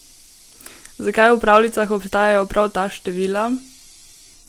Zakaj v pravljicah obstajajo prav ta števila?